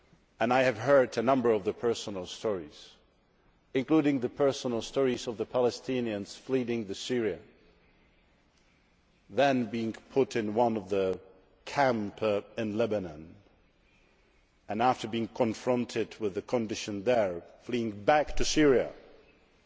and I have heard a number of personal stories, including the personal stories of Palestinians fleeing Syria, then being put in one of the camps in Lebanon and, after being confronted with the conditions there, fleeing back to Syria, being